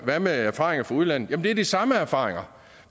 hvad med erfaringer fra udlandet det er de samme erfaringer